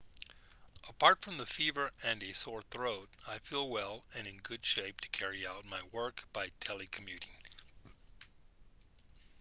apart from the fever and a sore throat i feel well and in good shape to carry out my work by telecommuting